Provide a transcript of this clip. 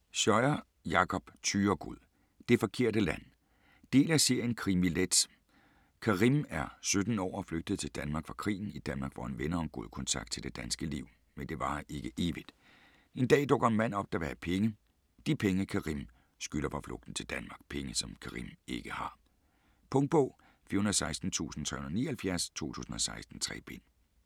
Scheuer, Jakob Thyregod: Det forkerte land Del af serien Krimi-let. Karim er 17 år og flygtet til Danmark fra krigen. I Danmark får han venner og en god kontakt til det danske liv, men det varer ikke evigt. En dag dukker en mand op, der vil have penge - de penge Karim skylder for flugten til Danmark. Penge som Karim ikke har. Punktbog 416379 2016. 3 bind.